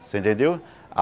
Você entendeu?